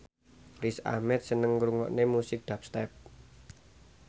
Riz Ahmed seneng ngrungokne musik dubstep